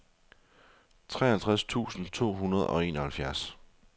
treoghalvtreds tusind to hundrede og enoghalvfjerds